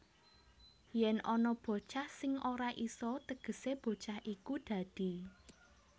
Yèn ana bocah sing ora isa tegesé bocah iku dadi